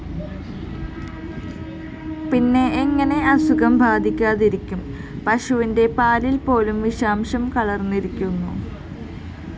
പിന്നെ എങ്ങനെ അസുഖം ബാധിക്കാതിരിക്കും? പശുവിന്റെ പാലില്‍പ്പോലും വിഷാംശം കലര്‍ന്നിരിക്കുന്നു